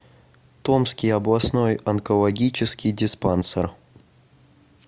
томский областной онкологический диспансер